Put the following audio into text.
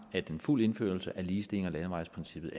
at en fuld indførelse af ligestilling og landevejsprincippet